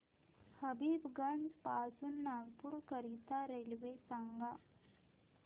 हबीबगंज पासून नागपूर करीता रेल्वे सांगा